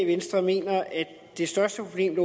venstre mener at det største problem